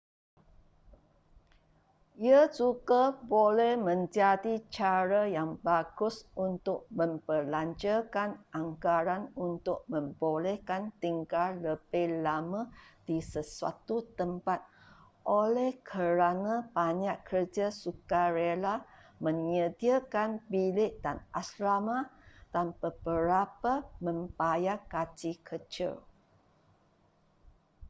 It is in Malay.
ia juga boleh menjadi cara yang bagus untuk membelanjakan anggaran untuk membolehkan tinggal lebih lama di sesuatu tempat oleh kerana banyak kerja sukarela menyediakan bilik dan asrama dan beberapa membayar gaji kecil